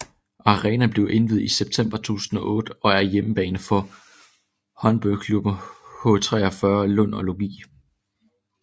Arenaen blev indviet i september 2008 og er hjemmebane for håndboldklubberne H 43 Lund og Lugi